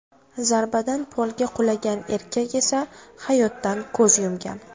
Zarbadan polga qulagan erkak esa hayotdan ko‘z yumgan .